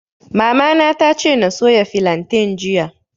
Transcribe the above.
Mamana ta ce na soya filantain jiya